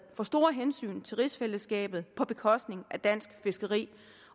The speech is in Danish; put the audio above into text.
for store hensyn til rigsfællesskabet på bekostning af dansk fiskeri